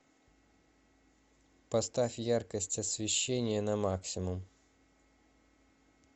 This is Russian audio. поставь яркость освещения на максимум